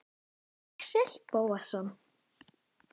Axel Bóasson